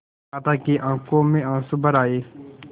माता की आँखों में आँसू भर आये